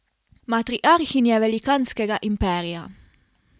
Matriarhinje velikanskega imperija.